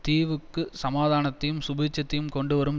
தீவுக்கு சமாதானத்தையும் சுபீட்சத்தையும் கொண்டுவரும்